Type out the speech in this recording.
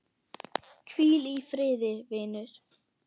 Hvíl í friði vinur.